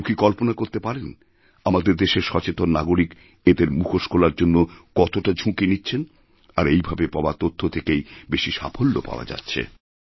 কেউ কি কল্পনা করতে পারেন আমাদেরদেশের সচেতন নাগরিক এঁদের মুখোশ খোলার জন্য কতটা ঝুঁকি নিচ্ছেন আর এইভাবে পাওয়াতথ্য থেকেই বেশি সাফল্য পাওয়া যাচ্ছে